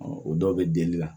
o dɔw bɛ deli la